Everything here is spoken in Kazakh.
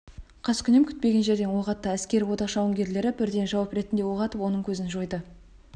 қаскүнем күтпеген жерден оқ атты әскери одақ жауынгерлері бірден жауап ретінде оқ атып оның көзін жойды